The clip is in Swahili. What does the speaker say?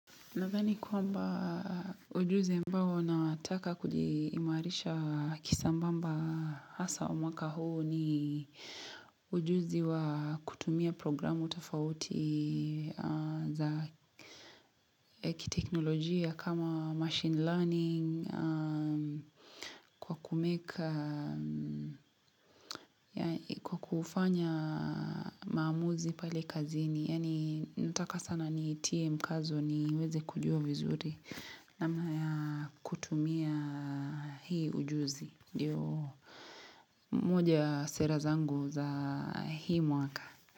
Nathani kwamba ujuzi ambao nataka kujiimarisha kisambamba hasa mwaka huu ni ujuzi wa kutumia programu tafauti za kiteknolojia kama machine learning, kwa kumake, kwa kufanya maamuzi pale kazini. Yaani nataka sana nitie mkazo niweze kujua vizuri namna ya kutumia hii ujuzi ndio moja sera zangu za hii mwaka.